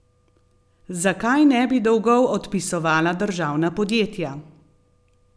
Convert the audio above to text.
Zakaj ne bi dolgov odpisovala državna podjetja?